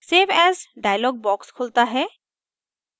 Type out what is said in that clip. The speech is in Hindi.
save as dialog box खुलता है